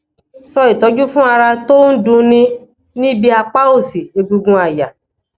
so itoju fun ara ton du ni nibi du ni nibi apa osi egungun aya